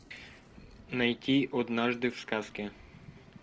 найти однажды в сказке